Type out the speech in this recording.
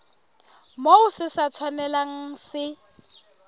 moo se sa tshwanelang se